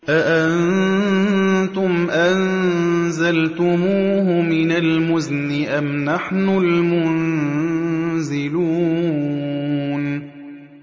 أَأَنتُمْ أَنزَلْتُمُوهُ مِنَ الْمُزْنِ أَمْ نَحْنُ الْمُنزِلُونَ